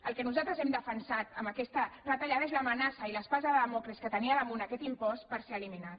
el que nosaltres hem defensat en aquesta retallada és l’amenaça i l’espasa de dàmocles que tenia damunt aquest impost per ser eliminat